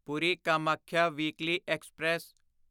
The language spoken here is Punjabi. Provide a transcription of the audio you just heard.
Puri Kamakhya weekly express